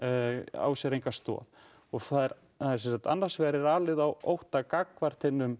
á sér enga stoð annars vegar er alið á ótta gagnvart hinum